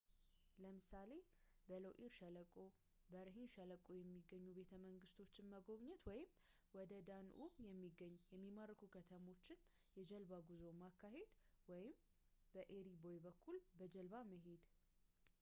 ለምሳሌ በሎኢር ሸለቆ በርሂን ሸለቆ የሚገኙ ቤተ መንግሥቶችን መጎብኘት ወይም ወደ በዳንዑብ የሚገኙ የሚማርኩ ከተሞች የጀልባ ጉዞ ማካሄድ ወይም በኤሪ ቦይ በኩል በጀልባ መሄድ